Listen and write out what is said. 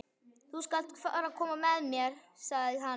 Þú skalt fara að koma þér, sagði hann.